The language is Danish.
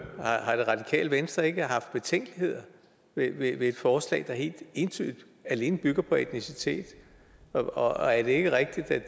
har det radikale venstre ikke betænkeligheder ved et forslag der helt entydigt og alene bygger på etnicitet og er det ikke rigtigt at